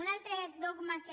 un altre dogma que